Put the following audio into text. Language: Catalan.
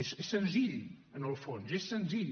és senzill en el fons és senzill